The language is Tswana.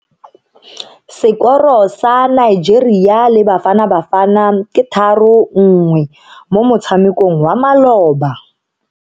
Sekoro sa Nigeria le Bafanabafana ke 3-1 mo motshamekong wa maloba.